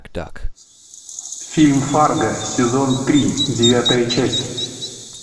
фильм фарго сезон три девятая часть